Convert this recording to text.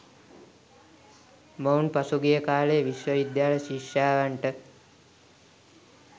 මොවුන් පසු ගිය කාලයේ විශ්ව විද්‍යාල ශිෂ්‍යාවන්ට